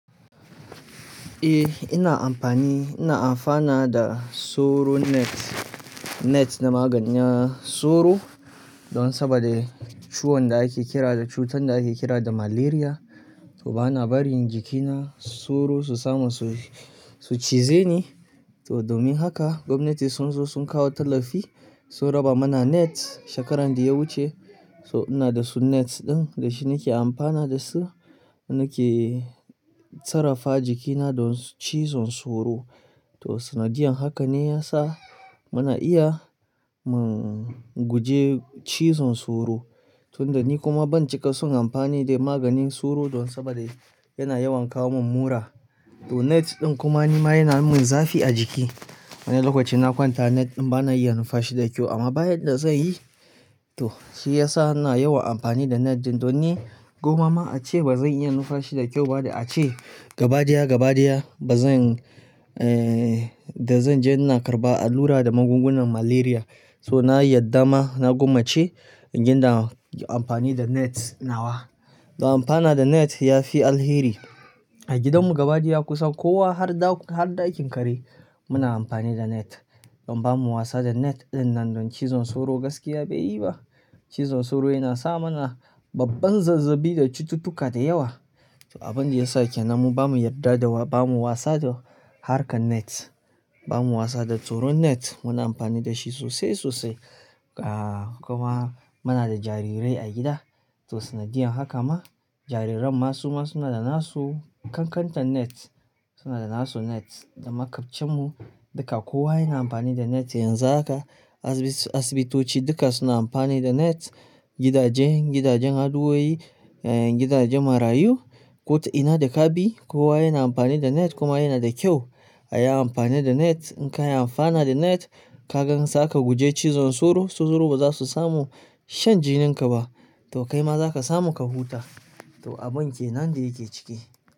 Eh, ina amfani. Ina amfana da soro net, net na magani na soro. Don saboda ciwon da ake kira da, cutar da ake kira da Malaria. To bana barin jikina soro su samu su, su cize ni. To domin haka gwamnati sun zo sun kawo tallafi, sun raba mana net shekaran da ya wuce. So ina da su net ɗin, da shi nake amfana da su, nake sarrafa jikina don cizon soro. To sanadiyan haka ne ya sa muna iya mu guje cizon soro. Tun da ni kuma ban cika son amfani da maganin soro don saboda yana yawan kawo min mura. To net ɗin kuma ni ma yana min zafi a jiki. Wani lokaci na kwanta net ɗin bana iya nufa shi da kyau amma bayan da zai yi to shi ya sa ina yawa amfani da net ɗin. Don ni goma ma ace bazan iya nufa shi da kyau ba da ace gaba daya gaba daya bazan, eh da zan je ina karɓa allura da magungunan Malaria. So na yadda ma na gwammace in ginda amfani da net nawa. Don amfana da net ya fi alheri. A gidanmu gaba daya kusan kowa har ɗau, har ɗakin kare muna amfani da net. Don bamu wasa da net ɗin nan don cizon soro gaskiya bai yi ba. Cizon soro yana sa mana babban zazzabi da cututtuka da yawa. To abin da ya sa kenan mu bamu yarda da wa, bamu wasa da harkan net. Bamu wasa da soro net. Muna amfani da shi sosai sosai. Ah kuma muna da jarirai a gida. To sanadiyan haka ma jariran masu ma suna da nasu kankantan net. Suna da nasu net da makwabcenmu duka kowa yana amfani da net yanzu haka. Asibi asibitoci duka suna amfani da net, gidajen, gidajen addu'o'i, ehn gidajen marayu. Ko ta ina da ka bi kowa yana amfani da net kuma yana da kyau a yi amfani da net. In ka yi amfana da net ka gan zaka guje cizon soro, su soro ba za su samu shan jininka ba. To kai ma za ka samu ka huta. To abin kenan da yake ciki.